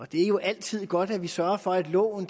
det jo altid er godt at vi sørger for at loven